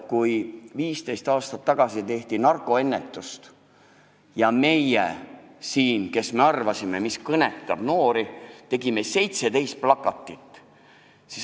Kui 15 aastat tagasi tehti narkoennetust ja meie, kes me arvasime teadvat, mis kõnetab noori, tegime 17 plakatit.